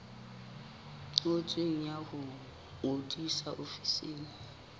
ngotsweng ya ho ngodisa ofising